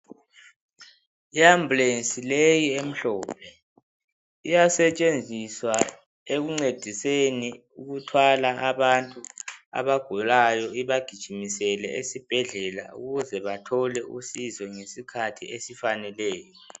Iambulensi leyi emhlophe, iyasetshenziswa ekuncediseni ukuthwala abantu abagulayo ibagijimisele esibhedlela ukuze bathole usizo ngesikhathi esifaneleyo.